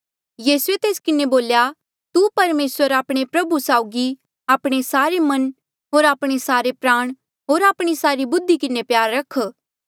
यीसूए तेस किन्हें बोल्या तू परमेसर आपणे प्रभु साउगी आपणे सारे मन होर आपणे सारे प्राण होर आपणे सारी बुद्धि किन्हें प्यार रख